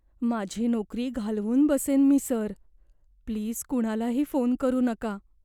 माझी नोकरी घालवून बसेन मी, सर. प्लीज कुणालाही फोन करू नका.